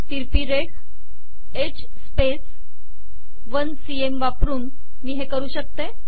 तिरपी रेघ H space १ cm वापरून मी हे करू शकते